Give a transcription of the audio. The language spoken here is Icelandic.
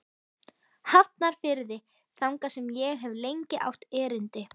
Hafnarfirði, þangað sem ég hef lengi átt erindi.